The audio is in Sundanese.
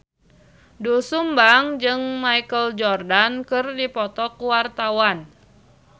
Doel Sumbang jeung Michael Jordan keur dipoto ku wartawan